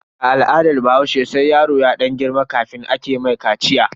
A al'adar bahaushe sai yaro ya dan girma kafin ake mishi kaciya.